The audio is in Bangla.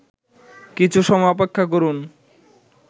কিছু সময় অপেক্ষা করুন